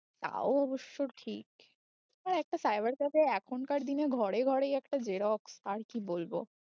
তা অবশ্য ঠিক হ্যাঁ একটা cyber cafe এখনকার দিনে ঘরে ঘরেই একটা xerox আর কি বলবো